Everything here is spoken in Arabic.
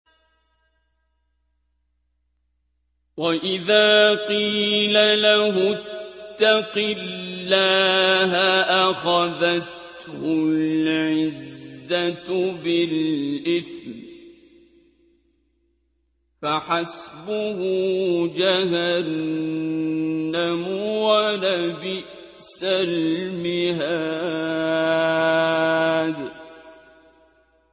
وَإِذَا قِيلَ لَهُ اتَّقِ اللَّهَ أَخَذَتْهُ الْعِزَّةُ بِالْإِثْمِ ۚ فَحَسْبُهُ جَهَنَّمُ ۚ وَلَبِئْسَ الْمِهَادُ